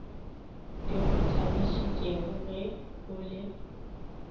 di go thabišitšegoge o le